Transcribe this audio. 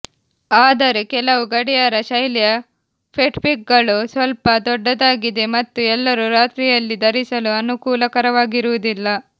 ಆದರೆ ಕೆಲವು ಗಡಿಯಾರ ಶೈಲಿಯ ಫಿಟ್ಬಿಟ್ಗಳು ಸ್ವಲ್ಪ ದೊಡ್ಡದಾಗಿದೆ ಮತ್ತು ಎಲ್ಲರೂ ರಾತ್ರಿಯಲ್ಲಿ ಧರಿಸಲು ಅನುಕೂಲಕರವಾಗಿರುವುದಿಲ್ಲ